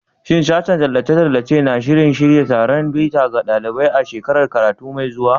Shin Sashen Tallace-tallace na shirin shirya taron bita ga ɗalibai a shekarar karatu mai zuwa?